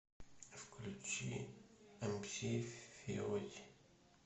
включи эмси фиоти